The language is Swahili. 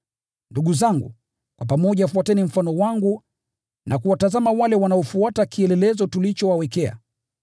Ndugu zangu, kwa pamoja fuateni mfano wangu na kuwatazama wale wanaofuata kielelezo tulichowawekea.